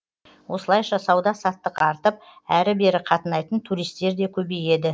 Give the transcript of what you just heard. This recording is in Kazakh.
осылайша сауда саттық артып әрі бері қатынайтын туристер де көбейеді